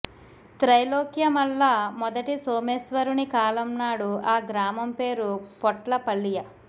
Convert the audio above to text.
త్రైలోక్యమల్ల మొదటి సోమేశ్వరుని కాలంనాడు ఆ గ్రామం పేరు పొట్ల పల్లియ